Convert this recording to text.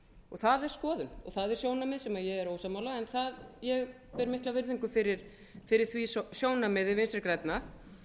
það er skoðun og það er sjónarmið sem ég er ósammála en ég ber mikla virðingu fyrir því sjónarmiði vinstri grænna